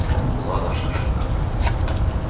это была наша ошибка